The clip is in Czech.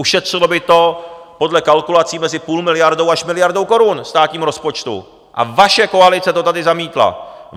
Ušetřilo by to podle kalkulací mezi půl miliardou až miliardou korun státnímu rozpočtu a vaše koalice to tady zamítla!